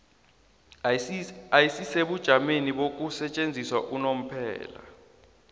ayisisebujameni bokusetjenziswa unomphela